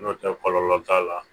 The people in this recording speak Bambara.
N'o tɛ kɔlɔlɔ t'a la